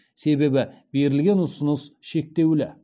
себебі берілген ұсыныс шектеулі